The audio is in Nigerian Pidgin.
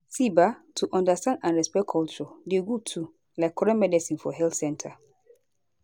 see ba to understand and respect culture dey good too like correct medicine for health center